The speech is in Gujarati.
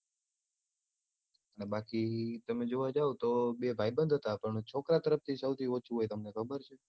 બાકી તમે જોવા જાઓ તો બે ભાઈબંદ હતાં પણ છોકરાં તરફથી સોંથી ઓછું હોય તમને ખબર છે